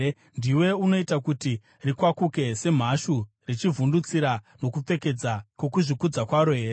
Ndiwe unoita kuti rikwakuke semhashu, richivhundutsira nokupfeza, kwokuzvikudza kwaro here?